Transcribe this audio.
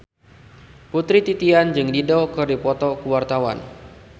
Putri Titian jeung Dido keur dipoto ku wartawan